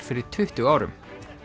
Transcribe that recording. fyrir tuttugu árum